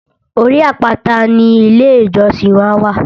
Orí àpáta ni ilé ìjọsìn wá wà